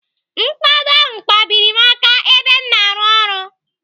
Mkpado ahụ kpabiri m aka ebe m na-arụ ọrụ.